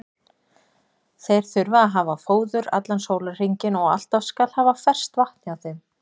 Þeir þurfa að hafa fóður allan sólarhringinn og alltaf skal haft ferskt vatn hjá þeim.